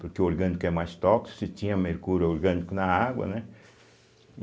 Porque o orgânico é mais tóxico, se tinha mercúrio orgânico na água, né?